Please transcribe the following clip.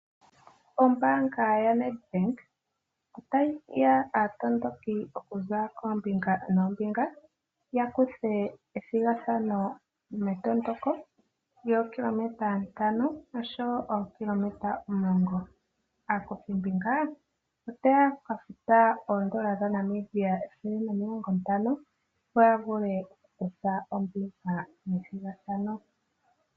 Ombaanga yaNet-Bank ota yi hiya aatondoki oku za koombinga noombinga ya kuthe ethigathano metondoko lyookilometa ntano osho wo ookilometa omulongo. Aakuthimbinga ota ya ka futa oodola dhaNamibia ethele nomilongo ntano opo ya vule okukutha ombinga methigathano.